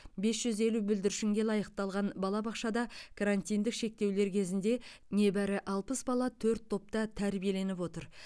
бес жүз елу бүлдіршінге лайықталған балабақшада карантиндік шектеулер кезінде небәрі алпыс бала төрт топта тәрбиеленіп отыр